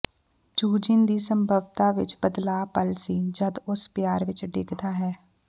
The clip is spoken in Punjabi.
ਯੂਜੀਨ ਦੀ ਸੰਭਵਤਾ ਵਿਚ ਬਦਲਾਅ ਪਲ ਸੀ ਜਦ ਉਸ ਪਿਆਰ ਵਿੱਚ ਡਿੱਗਦਾ ਹੈ